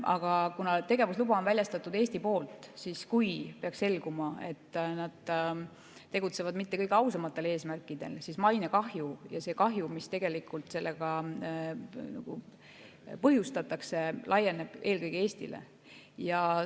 Aga kuna tegevusluba on väljastatud Eesti poolt ja kui peaks selguma, et nad tegutsevad mitte kõige ausamatel eesmärkidel, siis mainekahju ja see kahju, mis sellega põhjustatakse, laieneb eelkõige Eestile.